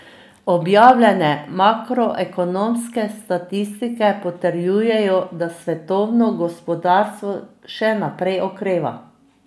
Objavljene makroekonomske statistike potrjujejo, da svetovno gospodarstvo še naprej okreva.